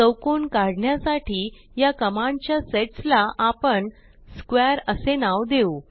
चौकोन काढण्यासाठी या कमांड च्या सेट्स ला आपण स्क्वेअर असे नाव देऊ